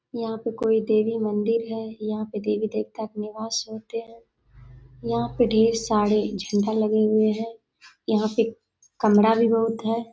यहाँ पे कोई देवी मंदिर है यहाँ पे देवी-देवता का निवास होते है यहाँ पे ढेर सारे झंडा लगे हुए है यहाँ पे कमरा भी बहुत है।